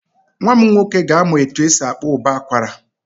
Nwa m nwoke ga-amụ etu esi akpọ ụbọ akwara.